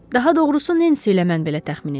Daha doğrusu Nensi ilə mən belə təxmin edirik.